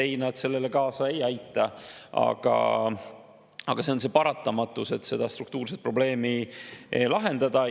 Ei, need sellele kaasa ei aita, aga neid on paratamatult, et seda struktuurset probleemi lahendada.